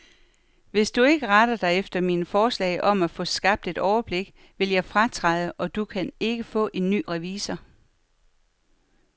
Hvis du ikke retter dig efter mine forslag om at få skabt et overblik, vil jeg fratræde, og du kan ikke få en ny revisor.